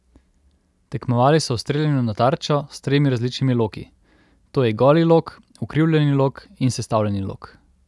Tekmovali so v streljanju na tarčo s tremi različnimi loki: "To je goli lok, ukrivljeni lok in sestavljeni lok.